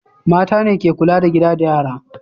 Mata ne ke kula da gida da yara.